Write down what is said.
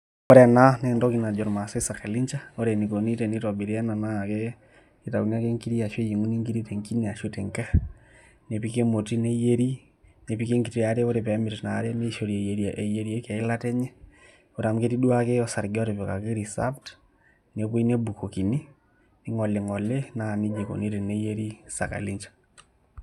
Ore ena naa entoki najo irmaasai sakalincha naa ore enikoni tenitobiri ena naa ketauni ake nkiri ashu eyieng'uni nkiri te enkine ashu tenkerr nepiki emoti neyieri nepiki enkiti are ore pee emit ina are ore nishori eyieriki eilata enye ore amu ketii duake osarge otipikaki reserved nepuoi nebukokini ning'oling'oli naa neija ikoni teneyieri sakalinja.